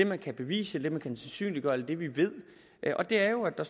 man kan bevise det man kan sandsynliggøre og det vi ved og det er jo at der